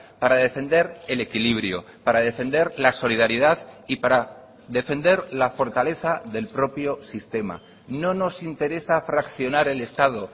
para defender el equilibrio para defender la solidaridad y para defender la fortaleza del propio sistema no nos interesa fraccionar el estado